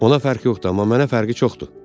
Ona fərqi yoxdur, amma mənə fərqi çoxdur.